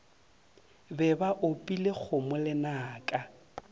be ba opile kgomo lenaka